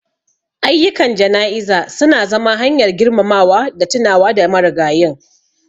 Ayyukan jana'iza su na zama hanyar girmamawa da tunawa da marigayin.